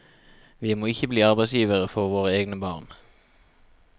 Vi må ikke bli arbeidsgivere for våre egne barn.